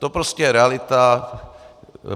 To prostě je realita.